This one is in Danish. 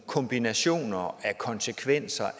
kombinationer af konsekvenser